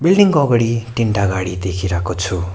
Building को अगाडि तीनटा गाडी देखिराको छु।